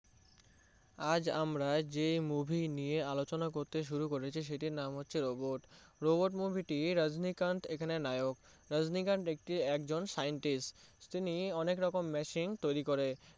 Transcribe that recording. আজ আমরা যে movie নিয়ে আলোচনা করতে শুরু করেছি সেটির নাম হচ্ছে Robot Robot movie টি রাজনীকান্থ এখানে নায়ক রাজনীকান্থ একজন scientist তিনি অনেক রকম machine তৈরি করে